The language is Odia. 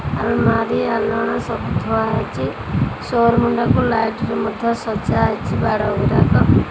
ଆଲମାରି ଆଲଣା ସବୁ ଥୁଆ ହୋଇଚି ଶୋ ରୁମ୍ ଟାକୁ ଲାଇଟ୍ ରେ ମଧ୍ୟ ସଜା ହେଇଛି ବାଡ଼ ଗୁଡ଼ାକ --